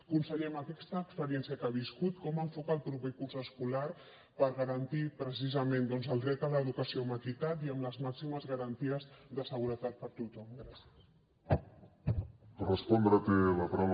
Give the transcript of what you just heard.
conseller amb aquesta experiència que ha viscut com enfoca el proper curs escolar per garantir precisament doncs el dret a l’educació amb equitat i amb les màximes garanties de seguretat per a tothom gràcies